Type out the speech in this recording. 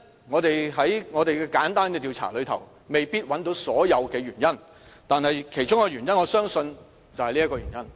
我們在簡單的調查中未必找到所有原因，但我相信其中一個原因涉及第三條問題。